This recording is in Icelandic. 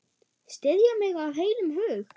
Styðja mig af heilum hug?